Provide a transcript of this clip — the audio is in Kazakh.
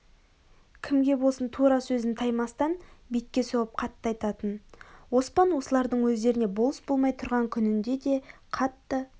кімге болсын тура сөзін таймастан бетке соғып қатты айтатын оспан осылардың өздеріне болыс болмай тұрған күнінде де қатты